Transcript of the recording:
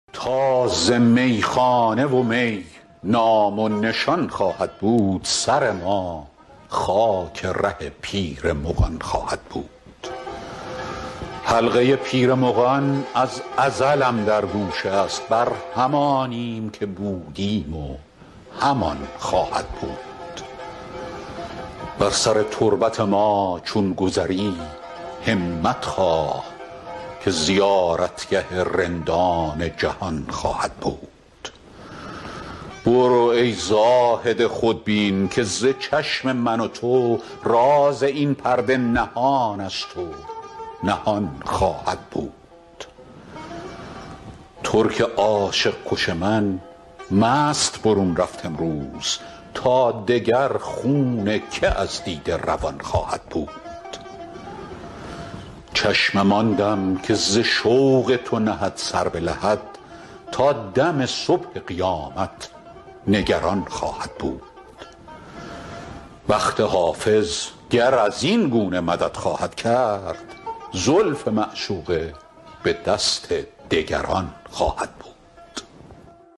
تا ز میخانه و می نام و نشان خواهد بود سر ما خاک ره پیر مغان خواهد بود حلقه پیر مغان از ازلم در گوش است بر همانیم که بودیم و همان خواهد بود بر سر تربت ما چون گذری همت خواه که زیارتگه رندان جهان خواهد بود برو ای زاهد خودبین که ز چشم من و تو راز این پرده نهان است و نهان خواهد بود ترک عاشق کش من مست برون رفت امروز تا دگر خون که از دیده روان خواهد بود چشمم آن دم که ز شوق تو نهد سر به لحد تا دم صبح قیامت نگران خواهد بود بخت حافظ گر از این گونه مدد خواهد کرد زلف معشوقه به دست دگران خواهد بود